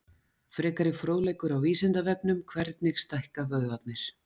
Frekari fróðleikur á Vísindavefnum: Hvernig stækka vöðvarnir?